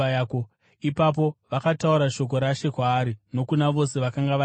Ipapo vakataura shoko raShe kwaari nokuna vose vakanga vari mumba.